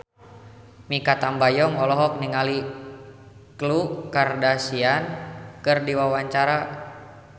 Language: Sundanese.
Mikha Tambayong olohok ningali Khloe Kardashian keur diwawancara